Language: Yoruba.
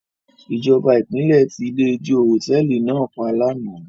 Ìjọba ìpínlẹ̀ ti ilé-ijó hòtẹ́ẹ́lì náà pa lánàá.